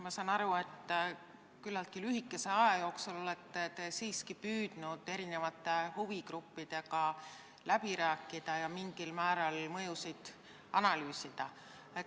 Ma saan aru, et küllaltki lühikese aja jooksul te olete siiski püüdnud erinevate huvigruppidega läbi rääkida ja mingil määral mõjusid analüüsida.